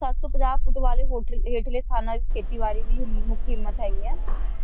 ਸੱਤ ਸੌ ਪੰਜਾਹ ਫੁੱਟ ਵਾਲੇ ਹੋਠ ਹੇਠੇਲ੍ਹੇ ਸਥਾਨਾਂ ਤੇ ਖੇਤੀਬਾੜੀ ਵੀ ਹਿੰਮਤ ਹੈਗੀ ਹੈ